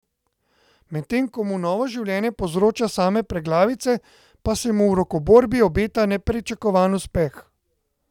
Medtem ko mu novo življenje povzroča same preglavice, pa se mu v rokoborbi obeta nepričakovan uspeh.